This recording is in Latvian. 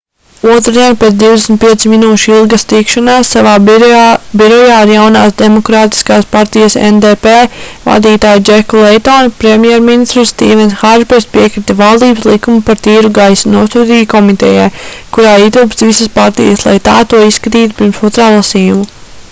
otrdien pēc 25 minūšu ilgas tikšanās savā birojā ar jaunās demokrātiskās partijas ndp vadītāju džeku leitonu premjerministrs stīvens hārpers piekrita valdības likumu par tīru gaisu nosūtīt komitejai kurā ietilpst visas partijas lai tā to izskatītu pirms otrā lasījuma